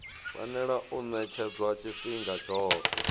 fanela u ṅetshedzwa tshifhinga tshoṱhe